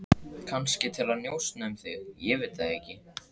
Kannski til að njósna um þig, ég veit það ekki.